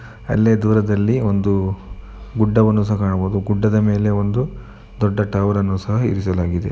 ಅಲ್ಲೇ ದೂರದಲ್ಲಿ ಒಂದು ಗುಡ್ಡವನ್ನು ಸಹ ಕಾಣಬಹುದು ಗುಡ್ಡದ ಮೇಲೆ ಒಂದು ದೊಡ್ಡ ಟವರನ್ನು ಸಹ ಇರಿಸಲಾಗಿದೆ .